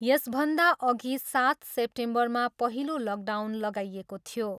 यसभन्दा अघि सात सेप्टेम्बरमा पहिलो लकडाउन लगाइएको थियो।